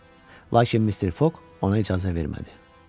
Lakin Mister Foq ona icazə vermədi.